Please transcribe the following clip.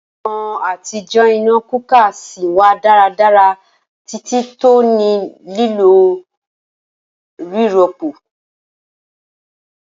Awọn atijọ ina cooker sìn wa daradara titi ti o nilo a rirọpo.